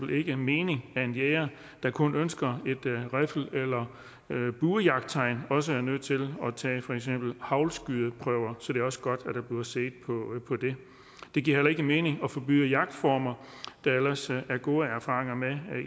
det ikke mening at en jæger der kun ønsker et riffel eller buejagttegn også er nødt til at tage for eksempel haglskydeprøver så det er også godt at der bliver set på det det giver heller ikke mening at forbyde jagtformer der ellers er gode erfaringer med